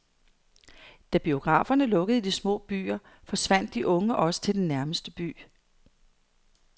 Da biograferne lukkede i de små byer, forsvandt de unge også til den nærmeste by.